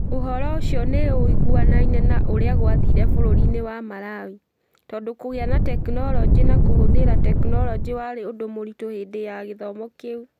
Ũhoro ũcio nĩ ũiguanaine na ũrĩa gwathire bũrũri-inĩ wa Malawi, tondũ kũgĩa na tekinolonjĩ na kũhũthĩra tekinolonjĩ warĩ ũndũ mũritũ hĩndĩ ya gĩthomo kĩu.